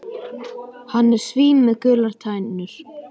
Hann er svín með gular tennur.